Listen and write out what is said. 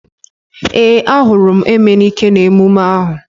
Ee, a hụrụ m Emenike n'emume ahu